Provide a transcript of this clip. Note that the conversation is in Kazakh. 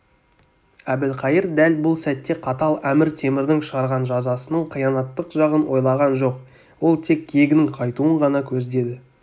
әбілқайыр дәл бұл сәтте қатал әмір-темірдің шығарған жазасының қиянаттық жағын ойлаған жоқ ол тек кегінің қайтуын ғана көздеді